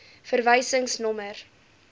verwysingsnommer